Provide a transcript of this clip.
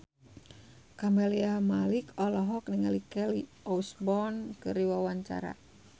Camelia Malik olohok ningali Kelly Osbourne keur diwawancara